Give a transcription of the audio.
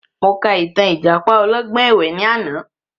Mo ka ìtàn ìjàpá ọlọ́gbọ́n ẹ̀wẹ ni àná